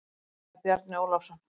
Þá sagði Bjarni Ólafsson